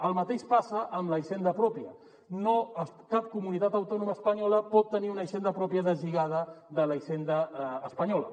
el mateix passa amb la hisenda pròpia cap comunitat autònoma espanyola pot tenir una hisenda pròpia des·lligada de la hisenda espanyola